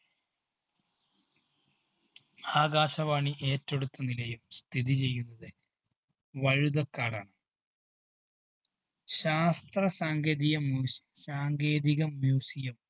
ആകാശവാണി ഏറ്റെടുത്ത് നിലയം സ്ഥിതിചെയ്യുന്നത് വഴുതക്കാടാണ്. ശാസ്ത്ര സാങ്കേതിക മ്യു സാങ്കേതിക museum